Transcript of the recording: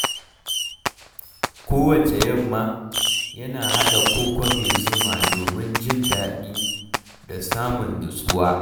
Kowacce yamma, yana haɗa koko mai zuma domin jin daɗi da samun nutsuwa.